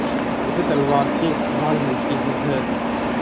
जैसे तलवार से ढाल मिलती है